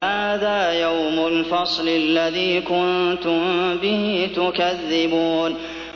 هَٰذَا يَوْمُ الْفَصْلِ الَّذِي كُنتُم بِهِ تُكَذِّبُونَ